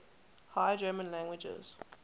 high german languages